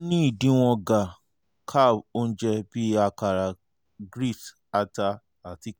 ni idiwọn ga- carb ounje bi akara grits ata ati corn